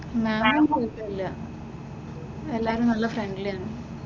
Lab കുഴപ്പമില്ല, എല്ലാവരും നല്ല ഫ്രണ്ട്‌ലി ആണ്.